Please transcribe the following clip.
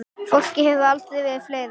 Fólkið hefur aldrei verið fleira.